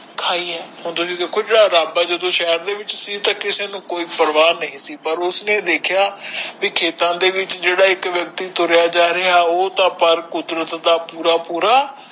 ਖੌਅ ਆ ਹੁਣ ਤੁਸੀ ਦੇਖੋ ਜਦੋ ਆਪ ਸ਼ਹਿਰ ਵਾਲ ਸੀ ਪੈ ਓਇਸਨੇ ਦੇਖਿਆ ਕਿ ਖੇਤਾਂ ਦੇ ਵਿਚ ਜੋ ਬੰਦਾ ਜਾ ਰਿਹਾ ਉਹ ਤਾ ਕੁਦਰਤ ਦਾ ਪੋਰਰਾ ਪੋਰਰਾ ਖਾਇ ਆ